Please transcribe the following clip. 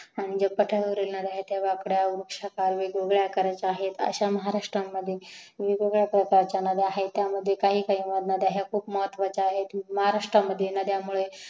जे पाठरावरील नद्या आहेत त्या वाकड्या वृक्षकावेगवेगळ्या आकाराच्या आहेत जे महारास्ट्रामध्ये वेगवेगळ्या प्रकरच्या नद्या आहेत त्या नद्या खूप खूप महत्वाच्या आहेत महाराष्ट्रतिल नद्यामुळे